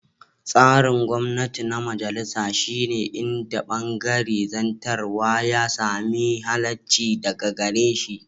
Tsarin gwamnati na majalisa shi ne inda bangaren zartarwa ya sami halaccinsa daga gare shi.